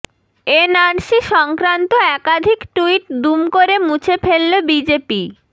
NRC সংক্রান্ত একাধিক tweet দুম করে মুছে ফেলল বিজেপি